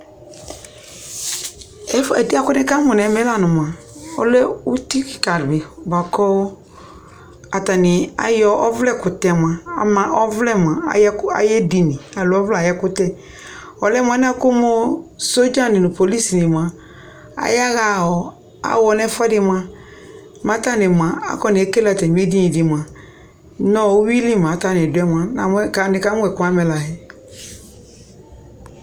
Efue ɛdɩ yɛ kʋ nɩkamʋ nʋ ɛmɛ la nʋ mʋa, ɔlɛ uti kɩka dɩ bʋa kʋ atanɩ ayɔ ɔvlɛkʋtɛ mʋa, ama ɔvlɛ mʋa, ayʋ ɛkʋ ayʋ edini alo ɔvlɛ ayʋ ɛkʋtɛ Ɔlɛ mʋ alɛna yɛ kʋ sɔdzanɩ nʋ polisinɩ mʋa, ayaɣa aɣɔ nʋ ɛfʋɛdɩ mʋa, mɛ atanɩ mʋa, akɔnekele atamɩ edini dɩ mʋa nʋ uyui li mɛ atanɩ dʋ yɛ mʋa, namʋ nɩkamʋ ɛkʋ yɛ amɛla yɛ